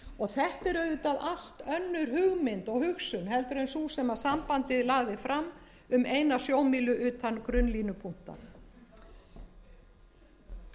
allt önnur hugmynd og hugsun heldur en sú sem sambandið lagði fram um eina sjómílu utan